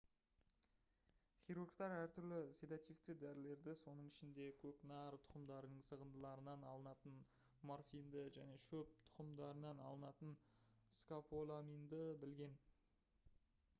хирургтар әртүрлі седативтік дәрілерді соның ішінде көкнәр тұқымдарының сығындыларынан алынатын морфинді және шөп тұқымдарынан алынатын скополаминді білген